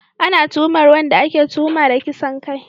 Ana tuhumar wanda ake tuhuma da kisan kai